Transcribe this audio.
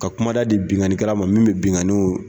Ka kumada di binkani kɛlɛ ma min bɛ binkaniw